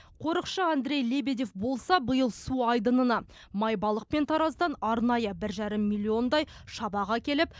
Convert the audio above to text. қорықшы андрей лебедев болса биыл су айдынына майбалық пен тараздан арнайы бір жарым миллиондай шабақ әкеліп